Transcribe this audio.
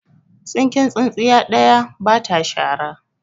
Tsinken tsintsiya ɗaya ba ta shara.